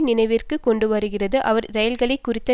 நினைவிற்கு கொண்டுவருகிறது அவர் இரயில்களை குறித்த